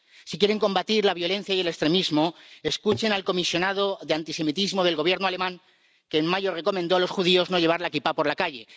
Si quieren combatir la violencia y el extremismo, escuchen al comisionado de antisemitismo del Gobierno alemán, que en mayo recomendó a los judíos no llevar la kipá por la calle.